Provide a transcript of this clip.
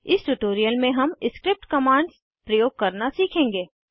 इस ट्यूटोरियल में हम स्क्रिप्ट कमांड्स प्रयोग करना सीखेंगे